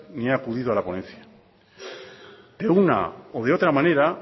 ni ha acudido a la ponencia de una o de otra manera